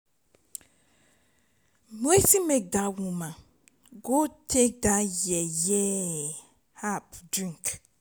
wetin make dat woman go take that yeye herbal drink